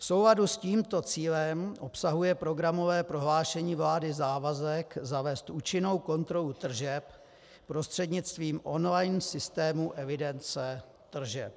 V souladu s tímto cílem obsahuje programové prohlášení vlády závazek zavézt účinnou kontrolu tržeb prostřednictvím online systému evidence tržeb.